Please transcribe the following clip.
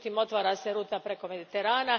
Međutim, otvara se ruta preko Mediterana.